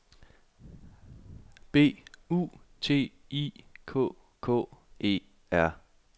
B U T I K K E R